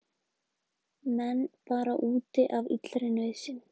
Menn bara úti af illri nauðsyn